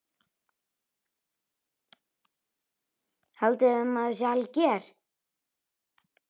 Haldiði að maður sé alger!